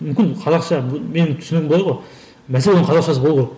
мүмкін қазақша менің түсінігім былай ғой мәселе оның қазақшасы болу керек